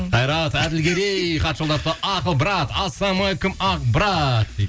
қайрат әділгерей хат жолдапты ақыл брат ассалаумалейкум ақ брат дейді